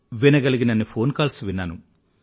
వినగలిగినన్ని phone calls విన్నాను